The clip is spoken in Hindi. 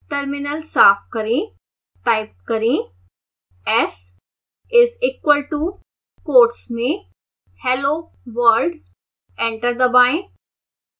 terminal साफ करें